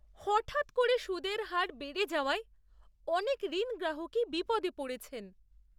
হঠাৎ করে সুদের হার বেড়ে যাওয়ায় অনেক ঋণগ্রাহকই বিপদে পড়েছেন।